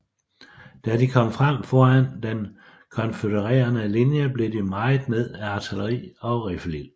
Da de kom frem foran den konfødererede linje blev de mejet ned af artilleri og riffelild